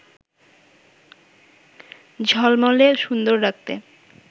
ঝলমলে সুন্দর রাখতে